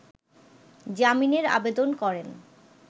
জামিনের আবেদন করেন